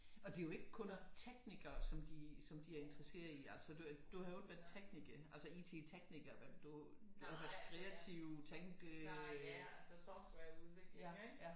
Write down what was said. Og det er jo ikke kun teknikere som de som de er interesserede i altså du har jo ikke været tekniker altså IT-tekniker vel du kreativ tænke øh